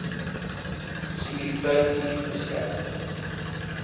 sekuriteit fisies verskerp